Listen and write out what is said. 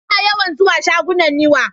Ina yawan zuwa shagunan Niwa.